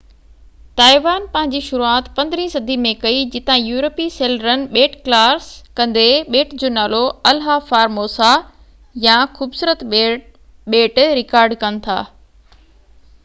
Taiwan پنهنجي شروعات 15 صدي ۾ ڪئي جتان يورپي سيلرن ٻيٽ ڪراس ڪندي ٻيٽ جو نالو الها فار موسا يا خوبصورت ٻيٽ رڪارڊ ڪن ٿا